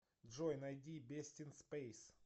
джой найди бестинспэйс